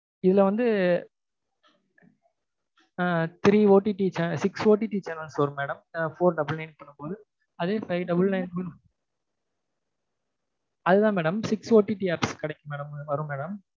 இதுல வந்து ஆஹ் three OTT channels six OTT channels வரும் madam four double nine பண்ணும்போது அதே five double nine அதுதான் madam six OTT apps கிடைக்கும் madam வரும் madam